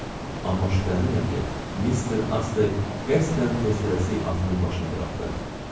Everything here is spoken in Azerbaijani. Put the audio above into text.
Amma şübhələnirəm ki, Mister Astley qəsdən tez-tələsik atının başını buraxdı.